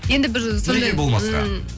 енді бір сондай неге болмасқа м